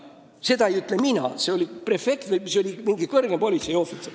Seda ei ütle mina, seda ütles kõrgem politseiohvitser.